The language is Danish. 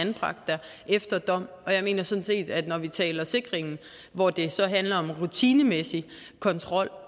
anbragt der efter dom jeg mener sådan set at når vi taler sikringen hvor det så handler om rutinemæssig kontrol